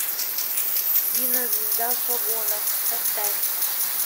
кинозвезда в погонах поставь